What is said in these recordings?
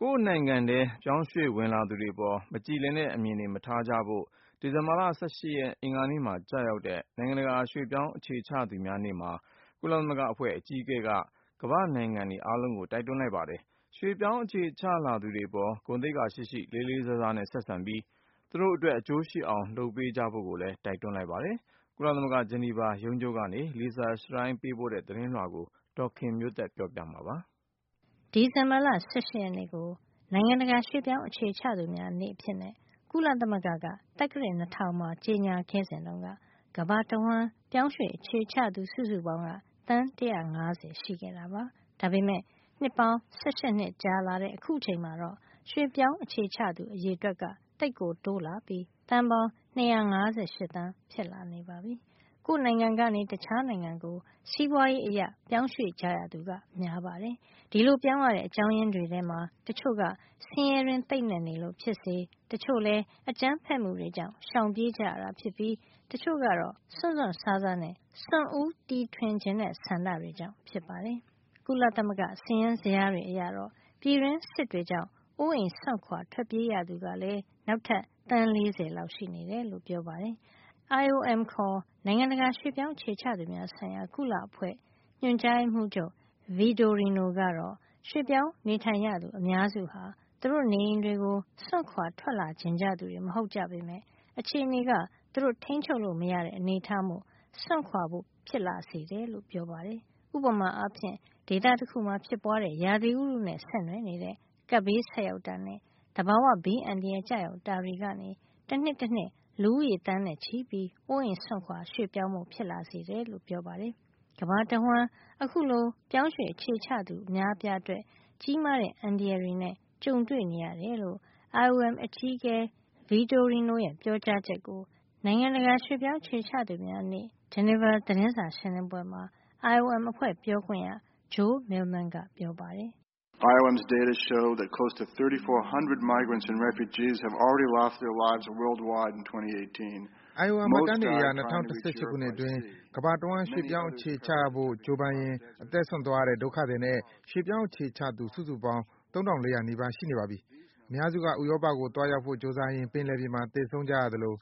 ကိုယ့်နိုင်ငံထဲ ပြောင်းရွှေ့လာသူတွေအပေါ် မကြည်လင်တဲ့အမြင်တွေ မထားကြဖို့၊ ဒီဇင်ဘာလ ၁၈ ရက် အင်္ဂါနေ့မှာ ကျရောက်တဲ့ နိုင်ငံတကာ ရွှေ့ပြောင်းအခြေချသူများနေ့မှာ ကုလသမဂ္ဂ ရွှေ့ပြောင်းအခြေချသူများဆိုင်ရာအဖွဲ့ အကြီးအကဲက၊ ကမ္ဘာ့နိုင်ငံ အားလုံးကို တိုက်တွန်း လိုက်ပါတယ်။ ပြောင်းရွှေ့အခြေချလာ သူတွေအပေါ် ဂုဏ်သိက္ခာရှိရှိနဲ့ လေးလေးစားစား ဆက်ဆံပြီး သူတို့အသိုင်းအဝိုင်း အကျိုးရှိအောင် လုပ်ပေးကြဖို့ လည်း တိုက်တွန်းလိုက်ပါတယ်။ ကုလသမဂ္ဂ ဂျနီဗာရုံးချုပ်က Lisa Schlein ပေးပို့တဲ့ သတင်းကို ဒေါ်ခင်မျိုးသက်က ပြောပြပေးမှာပါ။ ဒီဇင်ဘာလ ၁၈ ရက်နေ့ကို နိုင်ငံတကာ ရွှေ့ပြောင်း အခြေချသူများနေ့အဖြစ် ကုလသမဂ္ဂက သက္ကရာဇ် ၂၀၀၀ မှာ ကြေညာခဲ့စဉ်က ကမ္ဘာတဝှမ်း ပြောင်းရွှေ့အခြေချသူ စုစုပေါင်း သန်း ၁၅၀ ရှိခဲ့တာပါ။ ဒါပေမယ့် နှစ်ပေါင်း ၁၈ နှစ်ကြာလာတဲ့ အခုအချိန်မှာတော့ ရွှေ့ပြောင်းအခြေချသူ အရေတွက်က သိပ်ကိုတိုးလာပြီး သန်းပေါင်း ၂၅၈ သန်းဖြစ်လာနေပါပြီ။ ကိုယ့်နိုင်ငံကနေ တခြားနိုင်ငံကို စီးပွါးရေးအခြေနေအရ ပြောင်းရွှေ့ကြသူက များပါတယ်။ ဒီလိုပြောင်းရတဲ့ အကြောင်းရင်းတွေထဲမှာ တချို့က ဆင်းရဲတွင်း သိပ်နက်နေလို့ ဖြစ်သလို တချို့လည်း အကြမ်းဖက်မှုတွေကြောင့် ရှောင်ပြေးရတာဖြစ်ပြီး တချို့ကတော့ စွန့်စွန့်စားစားနဲ့ စွန့်ဦးတီထွင် ချင်တဲ့ ဆန္ဒတွေကြောင့် ဖြစ်ပါတယ်။ ကုလသမဂ္ဂ စာရင်းဇယားတွေ အရတော့ ပြည်တွင်းစစ်တွေကြောင့် အိုးအိမ်စွန့်ခွါ ထွက်ပြေးရသူကလည်း နောက်ထပ် သန်း ၄၀ လောက် ရှိနေတယ်လို့ ပြောပါတယ်။ IOM ခေါ် နိုင်ငံတကကာ ရွှေ့ပြောင်းအခြေချသူများဆိုင်ရာ ကုလ အဖွဲ့အစည်း ညွှန်ကြားရေးမှုးချုပ် Antonio Vitorino ကတော့ ရွှေ့ပြောင်းနေထိုင်ရသူ အများစုဟာ သူတို့ နေအိမ်တွေကို စွန့်ခွါထွက်လာချင်သူ မဟုတ်ကြပေမယ့် အခြေနေက သူတို့ ထိန်းချုပ်လို့ မရတဲ့ အနေထားမို့ စွန့်ခွါဖို့ ဖြစ်လာစေတယ်လို့ ပြောပါတယ်။ ဥပမာအားဖြင့် ဒေသတခုမှာဖြစ်ပွါးတဲ့ ရာသီဥတုနဲ့ ဆက်နွယ်နေတဲ့ ကပ်ဘေးဆိုက်ရောက်တာနဲ့ သဘာဝဘေးအန္တရာယ် ကျရောက် တာတွေ ကနေ တနှစ်တနှစ် လူဦးရေ သန်းနဲ့ချီပြီး အိုးအိမ်စွန့်ခွါ ရွှေ့ပြောင်းဖို့ ဖြစ်လာစေတယ်လို့ ပြောပါတယ်။ ကမ္ဘာတဝှမ်း အခုလို ရွှေ့ပြောင်းအခြေချသူ အများအပြားအတွက် ကြီးမားတဲ့ အန္တရာယ်တွေနဲ့ ကြုံတွေ့နေရတယ်လို့ IOM အကြီးအကဲ Votorino ရဲ့ ပြောကြားချက်ကို နိုင်ငံတကာ ရွှေ့ပြောင်းအခြေချသူများနေ့ ဂျနီဗာ သတင်းစာရှင်းလင်းပွဲမှာ IOM အဖွဲ့ပြောခွင့်ရ Joel Millman ကပြောပါတယ်။ “IOM မှတ်တမ်းတွေအရ ၂၀၁၈ ခုနှစ်အတွင်း ကမ္ဘာတဝှမ်း ပြောင်းရွှေ့အခြေချဖို့ ကြိုးပမ်းရင်း အသက်စွန့်သွားရတဲ့ ဒုက္ခသည်နဲ့ ရွှေ့ပြောင်းအခြေချသူ စုစုပေါင်းက ၃၄၀၀ နီးပါး ရှိနေပါပြီ။ အများစုက ဥရောပကို သွားရောက်ဖို့ ကြိုးစားရင်း ပင်လယ်ပြင်မှာ သေဆုံးကြရသလို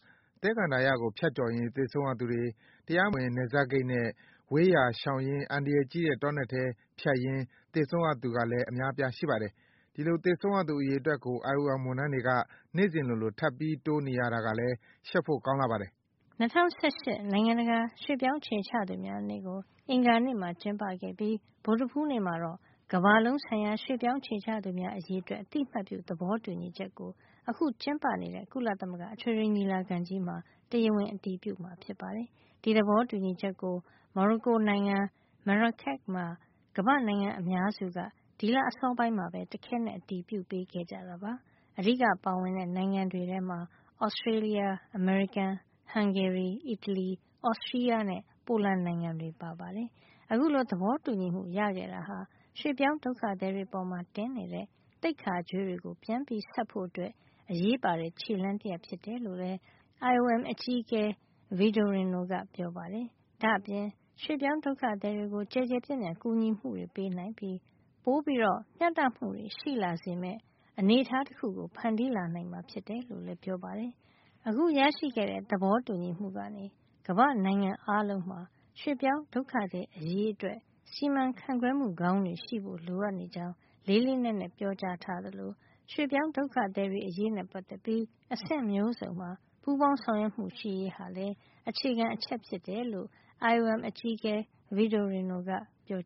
၊ သဲကန္တာရကို ကျော်ဖြတ်ရင်း သေဆုံးရသူတွေ၊ တရားဝင် နယ်စပ်ဂိတ်နဲ့ ဝေးရာရှောင်ရင်း အန္တရာယ်ကြီးတဲ့ တောနက်ထဲ ဖြတ်ရင်း သေဆုံးရသူကလည်း အများအပြား ရှိပါတယ်။ ဒီလိုသေဆုံးရသူ အရေအတွက်ကို IOM ဝန်ထမ်းတွေက နေ့စဉ်လိုလို ထပ်ပြီး တိုးနေရတာကလည်း ရှက်ဖို့ ကောင်းလှပါတယ်။” ၂၀၁၈ ခုနှစ် နိုင်ငံတကာ ရွှေ့ပြောင်းအခြေချသူများနေ့ ကို အင်္ဂါနေ့မှာ ကျင်းပခဲ့ပြီး ဗုဒ္ဓဟူးနေ့မှာတော့ ကမ္ဘာလုံးဆိုင်ရာ ရွှေ့ပြောင်းအခြေချသူများအရေး အတွက် အသိမှတ်ပြုသဘောတူညီချက်ကို အခုကျင်းပနေတဲ့ ကုလသမဂ္ဂ အထွေထွေညီလာခံကြီးမှာ တရားဝင် အတည်ပြုမှာ ဖြစ်ပါတယ်။ ဒီသဘောတူညီချက်ကို မော်ရိုကိုနိုင်ငံ Marrakech မှာ ကမ္ဘာ့နိုင်ငံအများစုက ဒီလအစောပိုင်းမှာပဲ တခဲနက် အတည်ပြုပေးခဲ့ကြတာပါ။ အဓိက ပါဝင်တဲ့ နိုင်ငံတွေထဲမှာ Australia အမေရိကန်၊ ဟန်ဂေရီ၊ အီတလီ၊ Austria နဲ့ ပိုလန် နိုင်ငံတွေ ပါပါတယ်။ အခုလို သဘောတူညီမှု ရခဲ့တာဟာ ရွှေ့ပြောင်း ဒုက္ခသည်တွေအပေါ် တင်နေတဲ့ သိက္ခာကြွေးတွေပြန်ဆပ်ဖို့ အရေးပါတဲ့ ခြေလှမ်းတရပ် ဖြစ်တယ်လို့လည်း IOM အကြီးအကဲ Vitorino ကပြောပါတယ်။ ဒါ့အပြင် ရွှေ့ပြောင်း ဒုက္ခသည်တွေကို ကျယ်ကျယ်ပြန့်ပြန့် ကူညီမှုတွေ ပေးနိုင်ပြီး ပို မျှတမှုတွေ ရှိလာစေမယ့် အနေထားတခုကို ဖန်တီးလာနိုင်မှာ ဖြစ်တယ်လို့လည်း ပြောပါတယ်။ အခုရရှိခဲ့တဲ့ သဘောတူညီမှုကနေ ကမ္ဘာ့နိုင်ငံအားလုံးမှာ ရွှေ့ပြောင်းဒုက္ခသည်အရေးအတွက် စီစဉ်ခန့်ခွဲမှုကောင်းတွေ ရှိဖို့လိုအပ်နေကြောင်း လေးလေးနက်နက် ပြောထားသလို ရွှေ့ပြောင်းဒုက္ခသည်အရေးနဲ့ ပတ်သက်ပြီး အဆင့်မျိုးစုံမှာ ပူးပေါင်းဆောင်ရွက်မှုရှိရေးဟာ အခြေခံ အချက်ဖြစ်ကြောင်းလည်း IOM အကြီးအကဲ Vitorino က ပြော